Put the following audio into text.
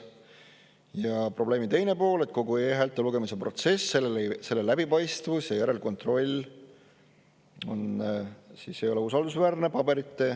Ja probleemi teine pool: kogu e-häälte lugemise protsess, selle läbipaistvus ja järelkontroll ei ole usaldusväärne.